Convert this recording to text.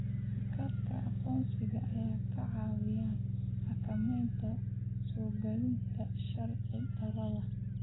Kaararka aqoonsiga ayaa kaa caawinaya xakamaynta soogalootiga sharci-darrada ah.